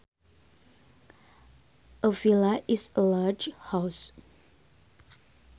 A villa is a large house